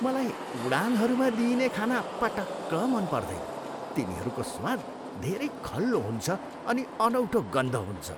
मलाई उडानहरूमा दिइने खाना पटक्क मन पर्दैन। तिनीहरूको स्वाद धेरै खल्लो हुन्छ अनि अनौठो गन्ध हुन्छ।